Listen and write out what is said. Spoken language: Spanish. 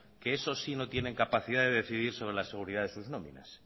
que eso sí que no tienen capacidad de decidir sobre la seguridad de sus nóminas